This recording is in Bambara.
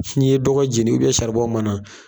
Fo n'i ye dɔgɔ jeni saribon mana.